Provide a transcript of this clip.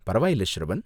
பரவாயில்ல ஷ்ரவன்.